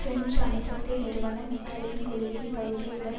French அணுசக்தி நிறுவனம் இத்தாலியின் குழுவின் பகுதி உடன்